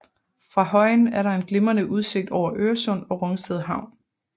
Fra højen er der en glimrende udsigt over Øresund og Rungsted Havn